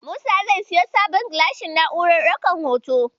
Musa zai siyo sabon gilashin na'urar ɗaukan hoto.